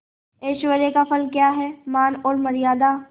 ऐश्वर्य का फल क्या हैमान और मर्यादा